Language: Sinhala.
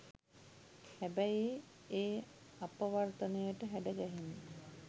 හැබැයි ඒ අපවර්තනයට හැඩගැහෙන්න